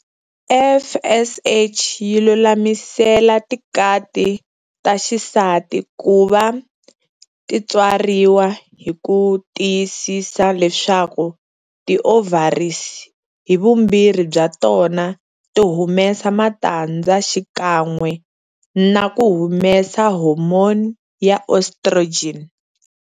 FSH yi lulamisela tikati ta xisati kuva titswariwa hiku tiyisisa leswaku ti ovaries hivumbirhi bya tona ti humesa matandza xikan'we naku humesa hormone ya estrogen.